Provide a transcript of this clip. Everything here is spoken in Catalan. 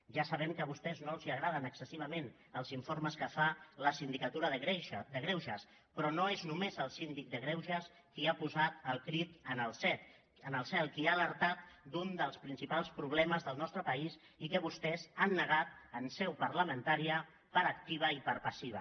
ja sabem que a vostès no els agraden excessivament els informes que fa la sindicatura de greuges però no és només el síndic de greuges qui ha posat el crit al cel qui ha alertat d’un dels principals problemes del nostre país i que vostès han negat en seu parlamentària per activa i per passiva